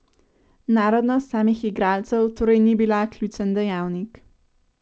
Narodnost samih igralcev torej ni bila ključen dejavnik?